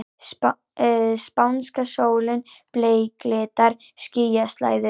Spánska sólin bleiklitar skýjaslæðu.